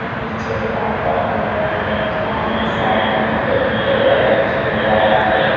पीछे दीवाल पर कलर हो रखा है साइड में एक टेबल रखी हुई है रेड कलर की।